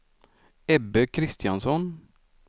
Ebbe Kristiansson